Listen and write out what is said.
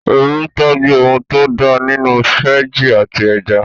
Oru ń tọ́jú ohun tó da nínú fẹ́jì àti ẹja